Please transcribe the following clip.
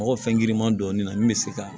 Mɔgɔ fɛn giriman dɔɔnin na min be se ka